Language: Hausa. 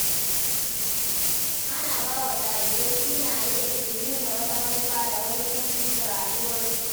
Ana ba wa jarirai sunaye da ke nuna wata manufa da wani buri ga rayuwarsu.